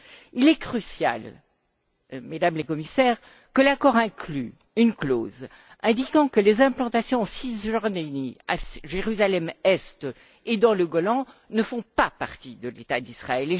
Il est crucial, Mesdames les Commissaires, que l'accord inclue une clause indiquant que les implantations en Cisjordanie, à Jérusalem Est et dans le Golan ne font pas partie de l'État d'Israël.